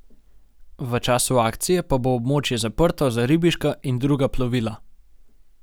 V času akcije pa bo območje zaprto za ribiška in druga plovila.